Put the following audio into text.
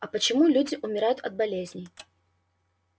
а почему люди умирают от болезней